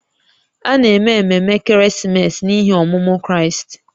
A na-eme ememe ekeresimesi n’ihi ọmụmụ Kraịst